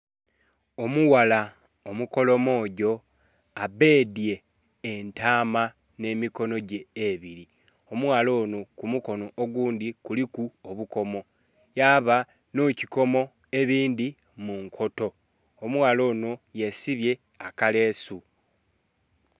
Omughala omukolomojo abedhye entama ne mikonhogye ebili omughala onho ku mukonho ogundhi kuliku obukomo yaba nhe kikomo ebindhi munkoto, omughala onho yesibye akalesu.